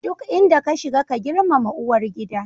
Duk inda ka shiga, ka girmama uwar gida.